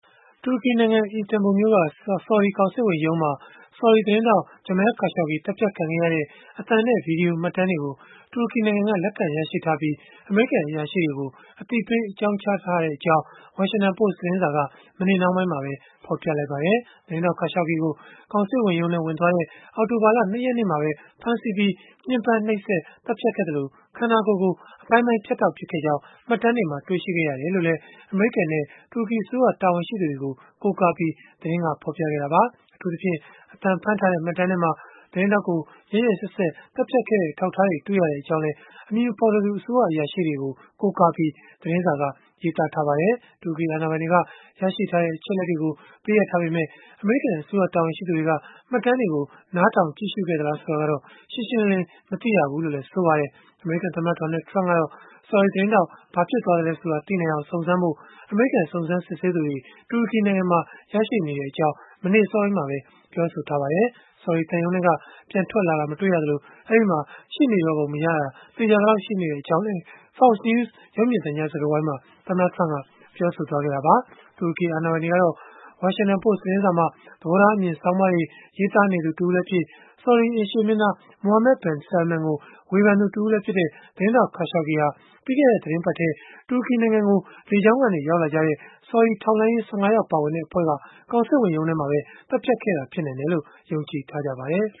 တူရကီနိုင်ငံ အီစတန်ဘူမြို့က ဆော်ဒီကောင်စစ်ဝန်ရုံးမှာ ဆော်ဒီသတင်းထောက် Jamal Khashoggi သတ်ဖြတ်ခံခဲ့ရတဲ့ အသံနဲ့ ဗွီဒီယို မှတ်တမ်းတွေကို တူရကီနိုင်ငံက လက်ခံရရှိထားပြီး အမေရိကန် အရာရှိတွေကို အသိပေး အကြောင်းကြားထားကြောင်း Washington Post သတင်းစာက မနေ့နှောင်းပိုင်းမှာပဲ ဖော်ပြလိုက်ပါတယ်။ သတင်းထောက် Khashoggi ကို ကောင်စစ်ဝန်ရုံးထဲ ဝင်သွားတဲ့ အောက်တိုဘာလ ၂ ရက်နေ့မှာပဲ ဖမ်းဆီးပြီး၊ ညှင်းပမ်းနှိပ်စက်၊ သတ်ဖြတ်ခဲ့သလို၊ ခန္ဓာကိုယ်ကို အပိုင်းပိုင်းဖြတ်တောက် ပစ်ခဲ့ကြောင်း မှတ်တမ်းတွေမှာ တွေ့ရှိခဲ့ရတယ်လို့လည်း အမေရိကန်နဲ့ တူရကီအစိုးရ တာဝန်ရှိသူတွေကို ကိုးကားပြီး သတင်းကဖော်ပြခဲ့တာပါ။ အထူးသဖြင့် အသံဖမ်းထားတဲ့ မှတ်တမ်းထဲမှာ သတင်းထောက်ကို ရက်ရက်စက်စက် သတ်ဖြတ်ခဲ့တဲ့ အထောက်အထားတွေ တွေ့ရကြောင်းလည်း အမည်မဖော်လိုသူ အစိုးရအရာရှိတွေကို ကိုးကားပြီး သတင်းစာက ရေးသားထားပါတယ်။ တူရကီ အာဏာပိုင်တွေက ရရှိထားတဲ့ အချက်အလက်တွေကို ပေးအပ်ထားပေမဲ့ အမေရိကန် အစိုးရ တာဝန်ရှိသူတွေက မှတ်တမ်းတွေကို နားထောင် ကြည့်ရှုခဲ့သလား ဆိုတာကတော့ ရှင်းရှင်းလင်းလင်း မသိရဘူးလို့လည်း ဆိုပါတယ်။ အမေရိကန်သမ္မတ Donald Trump ကတော့ ဆော်ဒီသတင်းထောက် ဘာဖြစ်သွားသလဲဆိုတာ သိနိုင်အောင် စုံစမ်းဖို့ အမေရိကန် စုံစမ်းစစ်ဆေးသူတွေ တူရကီနိုင်ငံမှာ ရောက်ရှိနေကြောင်း မနေ့အစောပိုင်းမှာပဲ ပြောဆိုထားပါတယ်။ ဆော်ဒီသံရုံးထဲက ပြန်ထွက်လာတာ မတွေ့ရသလို၊ အဲဒီမှာ ရှိပုံမရတော့တာ သေချာသလောက် ရှိတဲ့အကြောင်းလည်း Fox News ရုပ်မြင်သံကြား စကားဝိုင်းမှာ သမ္မတ Trump က ပြောဆိုခဲ့တာပါ။ တူရကီအာဏာပိုင်တွေကတော့ Washington Post သတင်းစာမှာ သဘောထားအမြင် ဆောင်းပါးတွေ ရေးသားနေသူ တဦးလည်းဖြစ် ဆော်ဒီအိမ်ရှေ့မင်းသား Mohammed bin Salman ကို ဝေဖန်သူတဦးလည်းဖြစ်တဲ့ သတင်းထောက် Khashoggi ဟာ ပြီးခဲ့တဲ့ သီတင်းပတ်ထဲ တူရကီနိုင်ငံကို လေကြောင်းကနေ ရောက်လာကြတဲ့ ဆော်ဒီထောက်လှမ်းရေး ၁၅ ယောက် ပါဝင်တဲ့ အဖွဲ့က ကောင်စစ်ဝန်ရုံးမှာပဲ သတ်ဖြတ်ခဲ့တာ ဖြစ်နိုင်တယ်လို့ ယုံကြည်ထားကြပါတယ်